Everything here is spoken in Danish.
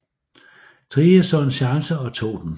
Thrige så en chance og tog den